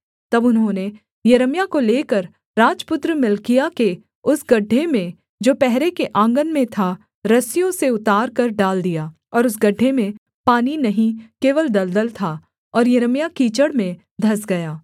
तब उन्होंने यिर्मयाह को लेकर राजपुत्र मल्किय्याह के उस गड्ढे में जो पहरे के आँगन में था रस्सियों से उतारकर डाल दिया और उस गड्ढे में पानी नहीं केवल दलदल था और यिर्मयाह कीचड़ में धँस गया